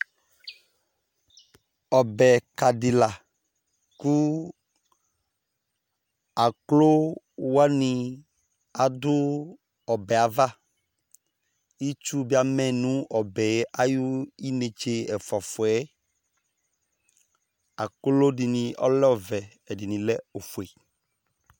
Ɔbɛka dila ku aklowani adu ɔbɛ ava Itsu dini adu ɔbɛ ayi netse ɛfuafuɛ Aklo dini alɛ ɔvɛ ɛdini ofue ,